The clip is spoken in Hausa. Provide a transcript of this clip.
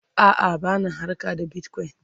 a'a bana harka da bitcoin